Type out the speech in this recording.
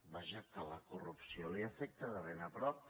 vaja que la corrupció l’afecta de ben a prop